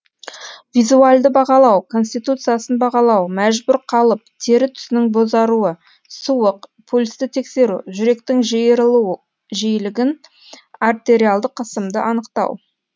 визуальді бағалау конституциясын бағалау мәжбүр қалып тері түсінің бозаруы суық пульсті тексеру жүректің жиырылу жиілігін артериалды қысымды анықтау